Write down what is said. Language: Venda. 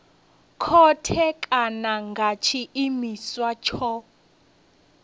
khothe kana nga tshiimiswa tsho